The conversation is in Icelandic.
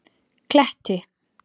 Kletti